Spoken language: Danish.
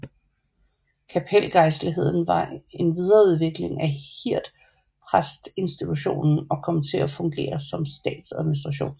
Kapelgejstligheden var en videreudvikling af hirdpræstinstitutionen og kom til at fungere som statsadministration